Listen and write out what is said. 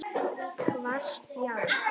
Hvasst járn.